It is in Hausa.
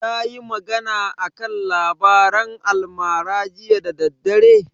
Tayi magana a kan labaran almara jiya da daddare?